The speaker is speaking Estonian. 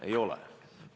Ei ole!